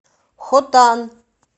хотан